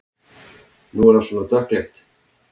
Nú er það svona dökkleitt!